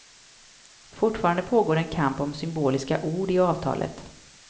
Fortfarande pågår en kamp om symboliska ord i avtalet.